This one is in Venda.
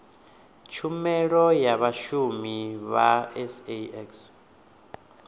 tshumelo ya vhashumi vha sax